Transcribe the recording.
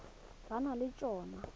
ba na le t hono